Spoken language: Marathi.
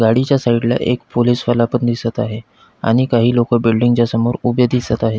गाडीच्या साइड एक पोलिस वाला पण दिसत आहे आणि काही लोक बिल्डिंग च्या समोर उभे दिसत आहेत.